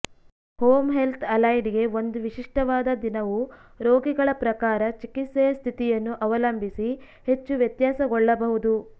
home health ಅಲೈಡ್ಗೆ ಒಂದು ವಿಶಿಷ್ಟವಾದ ದಿನವು ರೋಗಿಗಳ ಪ್ರಕಾರ ಮತ್ತು ಚಿಕಿತ್ಸೆಯ ಸ್ಥಿತಿಯನ್ನು ಅವಲಂಬಿಸಿ ಹೆಚ್ಚು ವ್ಯತ್ಯಾಸಗೊಳ್ಳಬಹುದು